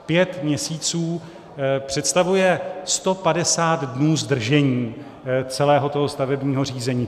Pět měsíců představuje 150 dnů zdržení celého toho stavebního řízení.